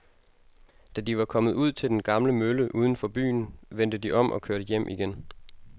Da de var kommet ud til den gamle mølle uden for byen, vendte de om og kørte hjem igen.